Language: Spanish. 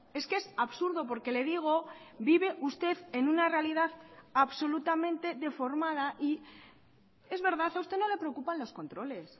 es que es absurdo porque le digo vive usted en una realidad absolutamente deformada y es verdad a usted no le preocupan los controles